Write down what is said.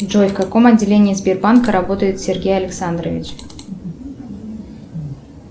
джой в каком отделении сбербанка работает сергей александрович